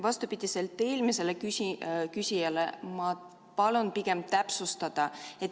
Vastupidiselt eelmisele küsijale ma palun pigem täpsustada.